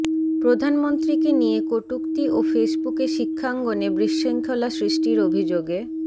প্রধানমন্ত্রীকে নিয়ে কটূক্তি ও ফেসবুকে শিক্ষাঙ্গনে বিশৃঙ্খলা সৃষ্টির অভিযোগে